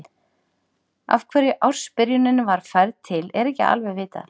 Af hverju ársbyrjunin var færð til er ekki alveg vitað.